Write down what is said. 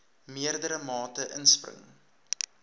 meerdere mate inspring